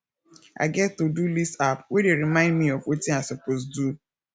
i get todo list app wey dey remind me of wetin i suppose do